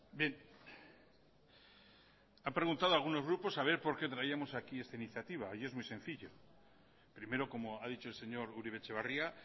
bien ha preguntado algunos grupos a ver por qué traíamos aquí esta iniciativa y es muy sencillo primero como ha dicho el señor uribe etxebarria